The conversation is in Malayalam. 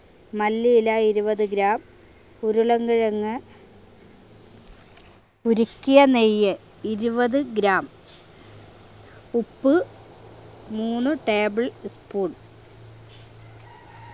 മല്ലിയില ഇരുപത് gram ഉരുളൻ കിഴങ്ങ് ഉരുക്കിയ നെയ്യ് ഇരുപത് gram ഉപ്പ് മൂന്ന് tablespoon